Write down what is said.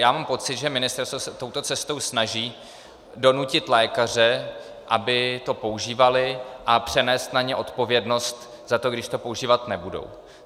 Já mám pocit, že ministerstvo se touto cestou snaží donutit lékaře, aby to používali, a přenést na ně odpovědnost za to, když to používat nebudou.